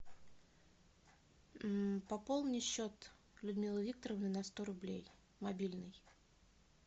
пополни счет людмилы викторовны на сто рублей мобильный